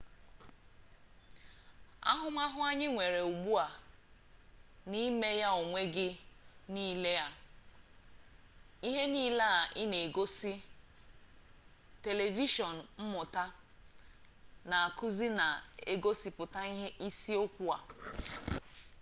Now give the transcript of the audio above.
ahụmahụ anyị nwere ugbu a na 'ime-ya-n'onwe gị' na ihe niile ị na-egosi telivishọn mmụta na-akụzi na-egosipụta isi okwu a